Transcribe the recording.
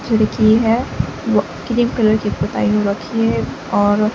खिड़की है वह क्रीम कलर की पुताई हो रखी है और--